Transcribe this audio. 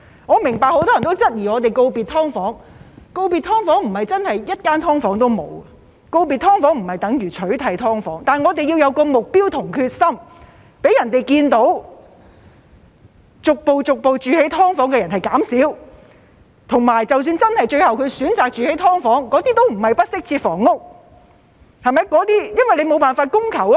我明白很多人也質疑，告別"劏房"不是真的一間"劏房"也沒有，告別"劏房"不等於取締"劏房"，但我們要有目標和決心，讓大家看到居住在"劏房"的人數逐步減少，以及即使他們最後真的選擇居住"劏房"，也不是不適切房屋，因為無法滿足需求。